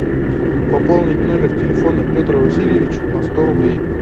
пополнить номер телефона петр васильевич на сто рублей